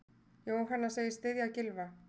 Jóhanna segist styðja Gylfa.